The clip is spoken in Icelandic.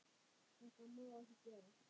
Þetta má ekki gerast.